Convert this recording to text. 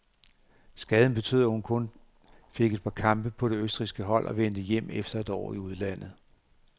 Skaden betød, at hun kun fik et par kampe på det østrigske hold og vendte hjem efter et år i udlandet.